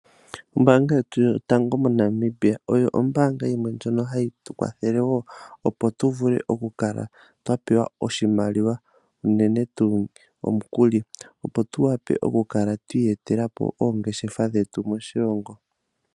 Ombanga yetu yotango moNamibia, oyo ombaanga yimwe ndjono hayi tu kwathele opo tukale twa pewa oshimaliwa, unene tuu omukuli opo tu wape okukala twiiyetela po oongeshefa dhetu moshilongo.